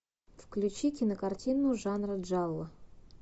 включи кинокартину жанра джалло